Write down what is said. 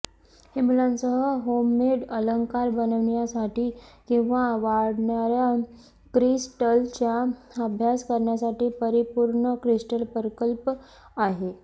हे मुलांसह होममेड अलंकार बनविण्यासाठी किंवा वाढणार्या क्रिस्टल्सचा अभ्यास करण्यासाठी परिपूर्ण क्रिस्टल प्रकल्प आहे